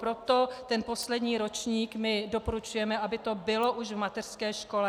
Proto ten poslední ročník my doporučujeme, aby to bylo už v mateřské škole.